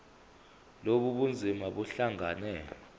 lobu bunzima buhlangane